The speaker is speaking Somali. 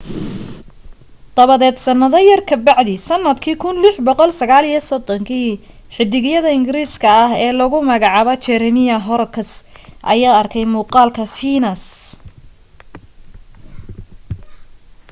dabadeed sannado yar ka bacdii sannadkii 1639 xiddigiye ingiriis ah oo lagu magacaabo jeremiah horrocks ayaa arkay muuqaalka fiinas